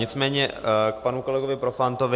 Nicméně k panu kolegovi Profantovi.